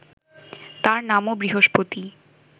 তাঁর নামও বৃহস্পতিই